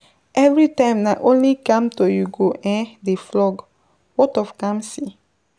Everytime na only Kamto you go um dey flog ,what of Kamsi?